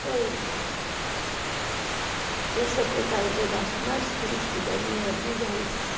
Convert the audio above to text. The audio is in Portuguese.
Foi... Esse é o pedaço mais triste da minha vida, é esse.